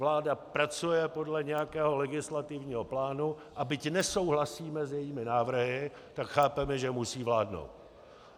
Vláda pracuje podle nějakého legislativního plánu, a byť nesouhlasíme s jejími návrhy, tak chápeme, že musí vládnout.